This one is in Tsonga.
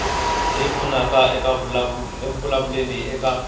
leyi pfunaka eku vulavuleni eka